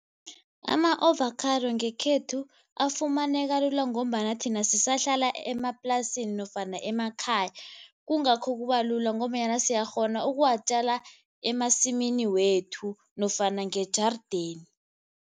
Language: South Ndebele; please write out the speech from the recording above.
Ama-ovakhado ngekhethu afumaneka lula ngombana thina sisahlala emaplasini nofana emakhaya kungakho kubalula ngombanyana siyakghona ukuwatjala emasimini wethu nofana ngejarideni.